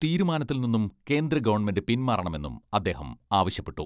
തീരുമാനത്തിൽ നിന്നും കേന്ദ്രഗവൺമെന്റ് പിന്മാറണമെന്നും അദ്ദേഹം ആവശ്യപ്പെട്ടു.